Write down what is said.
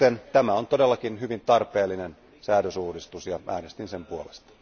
Tämä on todellakin hyvin tarpeellinen säädösuudistus, ja äänestin sen puolesta.